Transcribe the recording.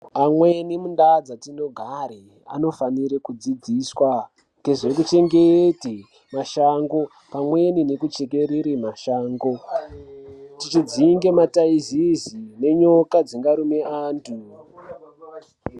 Ameni undaa dzetinogare anofanire kudzidziswa kuite zvekuchengete mashango pamweni ngekuchekerere mashango kudzinge mataizezi nenyoka dzingarume anthu.